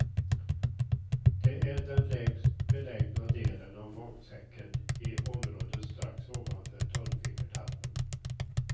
Det är den lägst belägna delen av magsäcken i området strax ovanför tolvfingertarmen.